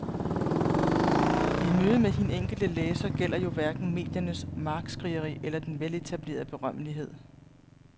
I mødet med hin enkelte læser gælder jo hverken mediernes markskrigeri eller den veletablerede berømmelighed.